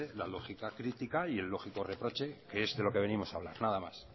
la lógica crítica y el lógico reproche que es de lo que venimos a hablar nada más